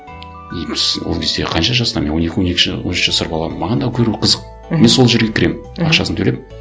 и біз ол кезде қанша жаста мен он екі он үш жасар баламын маған да көру қызық мхм мен сол жерге кіремін ақшасын төлеп